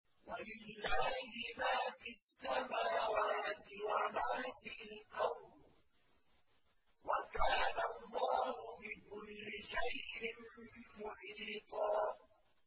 وَلِلَّهِ مَا فِي السَّمَاوَاتِ وَمَا فِي الْأَرْضِ ۚ وَكَانَ اللَّهُ بِكُلِّ شَيْءٍ مُّحِيطًا